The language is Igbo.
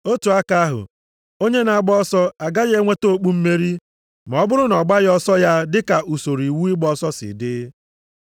Otu aka ahụ, onye na-agba ọsọ agaghị enweta okpu mmeri, ma ọ bụrụ na ọ gbaghị ọsọ ya dịka usoro iwu ịgba ọsọ si dị.